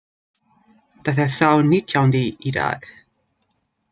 Það er sá nítjándi í dag.